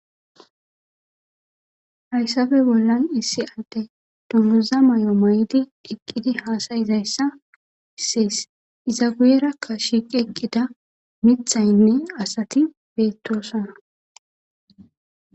Haysappe bolla issi ade dunguza mayo mayidi eqidi hasaizaysi besess.iza guyereka gita miththaynne cora assati betosona